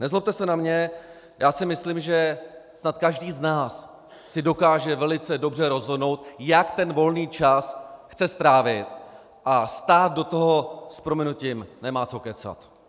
Nezlobte se na mě, já si myslím, že snad každý z nás si dokáže velice dobře rozhodnout, jak ten volný čas chce strávit, a stát do toho s prominutím nemá co kecat.